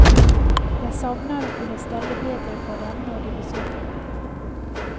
Jeg savner å kunne stelle bedre for dem når de besøker meg.